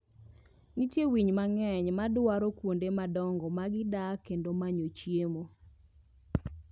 Nitie winy mang'eny madwaro kuondemadongo mg dak kendo manyo chiemo.